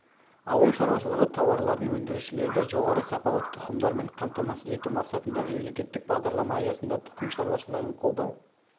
ауыл шаруашылығы тауарларын өндірушілерді жоғары сапалы тұқымдармен қамтамасыз ету мақсатында мемлекеттік бағдарлама аясында тұқым шаруашылығын қолдау